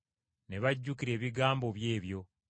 Ne bajjukira ebigambo bye ebyo.